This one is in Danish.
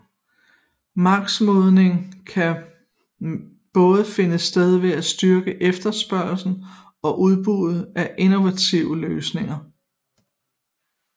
Markedsmodning kan både finde sted ved at styrke efterspørgslen og udbuddet af innovative løsninger